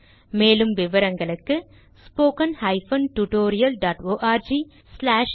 மேலும் விவரங்களுக்கு 1 மூலப்பாடம் டேலன்ட்ஸ்பிரின்ட்